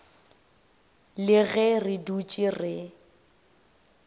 le ge re dutše re